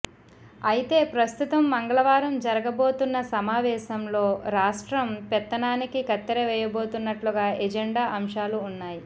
అయితే ప్రస్తుతం మంగళవారం జరగబోతున్న సమావేశంలో రాష్ట్రం పెత్తనానికి కత్తెర వేయబోతున్నట్లుగా ఎజెండా అంశాలు ఉన్నాయి